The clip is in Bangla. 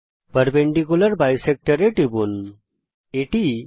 পারপেন্ডিকুলার বিসেক্টর উল্লম্ব দ্বিখণ্ডক এ টিপুন